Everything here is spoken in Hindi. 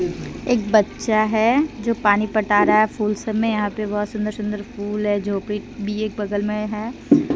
एक बच्चा है जो पानी पटा रहा है फूल स में यहा पे बहुत सुंदर सुंदर फूल है जो भी बगल मे है।